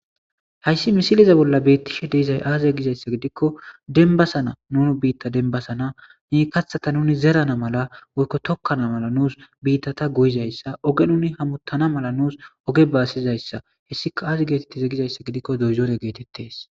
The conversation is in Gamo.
Hays misileza bolla betishe de'iza aze gizaysa gidiko denbasana nu bita denbasan kathata nun zeran mala woyko tokana mala nusu bitata goyizaysa ogen hamutana mala nusu oge basizaysa hesikka azi getetize gizaysa gidikko dozore getetetese